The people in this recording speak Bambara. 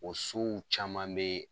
O sow caman be